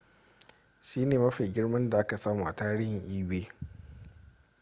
shine mafi girma da aka samu a tarihin ebay